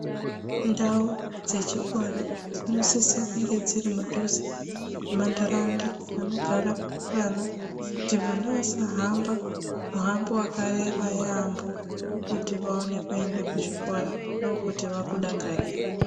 Ndau dzechikora dzinosisa kunge dziri mudhuze mwentaraunda anogara vana kuti vana vasahamba muhambo wakareba yamho kuti vaone kuenda kuchikora ndokuti vana vakudakarire.